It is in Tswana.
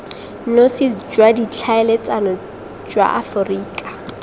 nosi jwa ditlhaeletsano jwa aforika